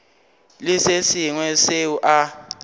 le se sengwe seo a